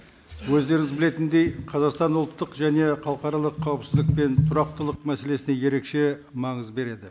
өздеріңіз білетіндей қазақстан ұлттық және халықаралық қауіпсіздік пен тұрақтылық мәселесіне ерекше маңыз береді